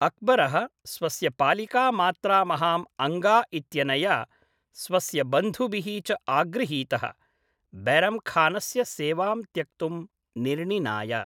अक्बरः स्वस्य पालिका मात्रा महाम् अङ्गा इत्यनया, स्वस्य बन्धुभिः च आगृहीतः, बैरम् खानस्य सेवां त्यक्तुं निर्णिनाय।